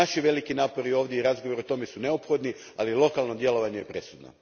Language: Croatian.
Naši veliki napori ovdje i razgovori o tome su neophodni, ali lokalno djelovanje je presudno.